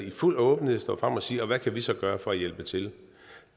i fuld åbenhed og sige og hvad kan vi så gøre for at hjælpe til